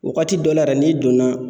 Wagati dɔ la yɛrɛ n'i donna